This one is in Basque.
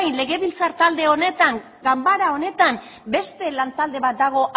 legebiltzar talde honetan ganbara honetan beste lan talde bat dago